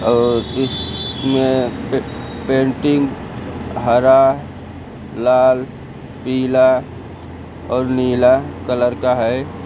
और इसमें पे पेंटिंग हरा लाल पीला और नीला कलर का है।